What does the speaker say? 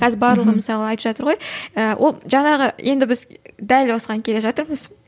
қазір барлығы мысалы айтып жатыр ғой ы ол жаңағы енді біз дәл осыған келе жатырмыз